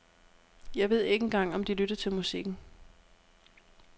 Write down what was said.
Jeg ved ikke engang om de lytter til musikken.